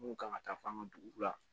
Mun kan ka taa fɔ an ka dugu la